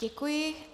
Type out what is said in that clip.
Děkuji.